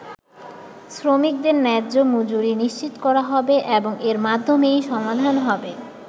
শ্রমিকদের ন্যায্য মজুরি নিশ্চিত করা হবে এবং এর মাধ্যমেই সমাধান হবে”।